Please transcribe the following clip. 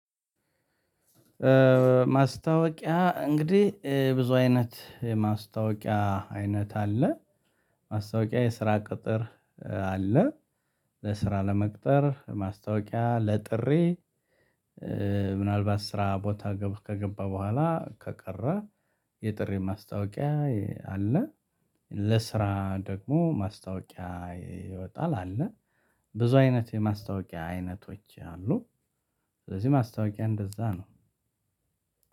ማስታወቂያ እንግዲህ ብዙ አይነት የማስታወቂያ አይነት አለ። ማስታወቂያ የስራ ቅጥር አለ። ለስራ ለመቅጠር ማስታወቂያ ለጥሪ። ምናልባት ስራ ቦታ ከገባ በኋላ ከቀረ የጥሪ ማስታወቂያ አለ። ለስራ ደግሞ ማስታወቂያ ይወጣል አለ። ብዙ አይነት የማስታወቂያ አይነቶች አሉ። ስለዚህ ማስታወቂያ እንደዛ ነው።